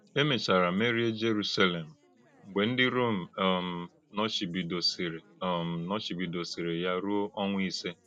E méchárà mèríè Jèrùsálèm mgbè ndí Rọ́m um nòchìbìdòsìrì um nòchìbìdòsìrì ya rúo ọnwá ísè.